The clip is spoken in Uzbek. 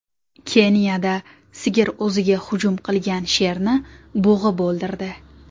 Keniyada sigir o‘ziga hujum qilgan sherni bo‘g‘ib o‘ldirdi.